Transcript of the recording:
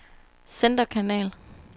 centerkanal